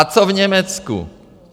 A co v Německu?